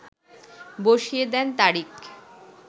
বসিয়ে দেন তারিখ